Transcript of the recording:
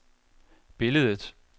billedet